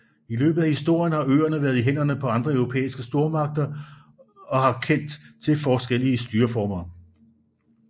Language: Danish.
I løbet af historien har øerne været i hænderne på andre europæiske stormagter og har kendt til forskellige styreformer